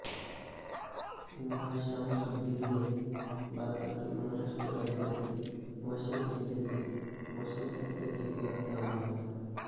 उमराशामसुद्दिन हे भारतातील महाराष्ट्र राज्यातील वाशिम जिल्ह्यातील वाशीम तालुक्यातील एक गाव आहे